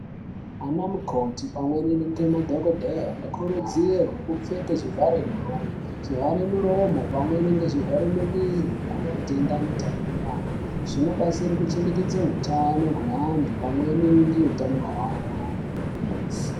Anamukoti pamweni nemadhokodheya vano kurudzirwa kupfeke zvivhare nyara zvivhara muromo pamweni nezvivhare muviri nematenda ano tapurwana zvinobatsira kuchengetedza utano kwantu pamweni neutano hweanhu.